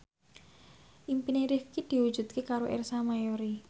impine Rifqi diwujudke karo Ersa Mayori